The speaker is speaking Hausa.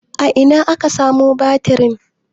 a Ina aka samo batirin?